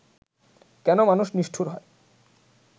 কেন মানুষ নিষ্ঠুর হয়